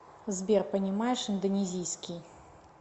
сбер понимаешь индонезийский